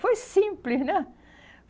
Foi simples, né?